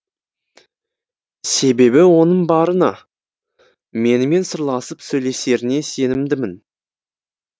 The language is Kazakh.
себебі оның барына менімен сырласып сөйлесеріне сенімдімін